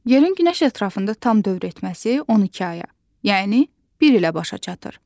Yerin günəş ətrafında tam dövr etməsi 12 aya, yəni bir ilə başa çatır.